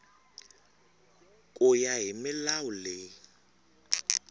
ku ya hi milawu leyi